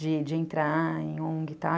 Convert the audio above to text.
De de entrar em ongue, tá?